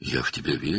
"Mən sənə inanıram.